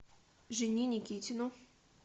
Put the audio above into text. жене никитину